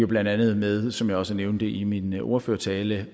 blandt andet med som jeg også nævnte i min ordførertale